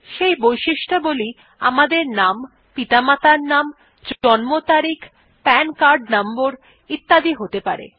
সেই বৈশিষ্ট্যাবলী আমাদের নাম পিতামাতার নাম জন্ম তারিখ পান কার্ড নম্বর ইত্যাদি হতে পারে